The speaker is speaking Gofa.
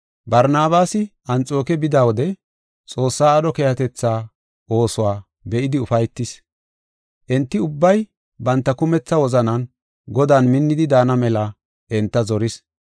Barnabaasi Anxooke bida wode Xoossaa aadho keehatetha oosuwa be7idi ufaytis. Enti ubbay banta kumetha wozanan Godan minnidi daana mela enta zoris.